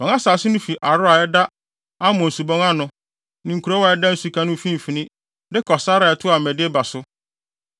Wɔn asase no fi Aroer a ɛda Arnon Subon no ano (ne kurow a ɛda nsuka no mfimfini) de kɔ sare a ɛtoa Medeba so.